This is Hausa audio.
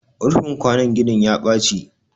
rufin kwanon ginin ya Baci